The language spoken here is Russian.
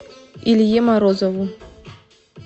илье морозову